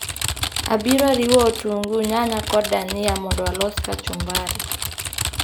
Abiro riwo otungu, nyanya kod dania mondo alos kachumbari